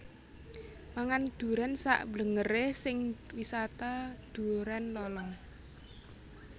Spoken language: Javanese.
Mangan duren sak mblengere sing Wisata Duren Lolong